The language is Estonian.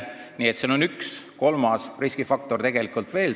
Nii et siin on üks riskifaktor, kolmas riskifaktor tegelikult veel.